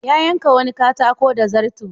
Ya yanka wani katako da zarto.